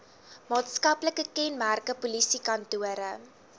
maatskaplike kenmerke polisiekantore